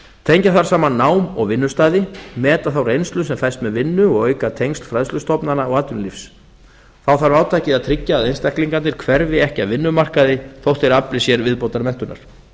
tengja þarf saman nám og vinnustaði meta þá reynslu sem felst með vinnu og auka tengsl fræðslustofnana og atvinnulífs þá þarf átakið að tryggja að einstaklingarnir hverfi ekki af vinnumarkaði þótt þeir afli sér viðbótarmenntunar